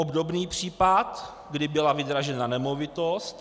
Obdobný případ, kdy byla vydražena nemovitost.